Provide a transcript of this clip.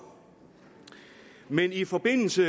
men i forbindelse